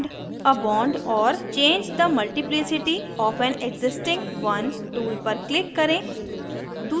add a bond or change the multiplicity of an existing one tool पर click करें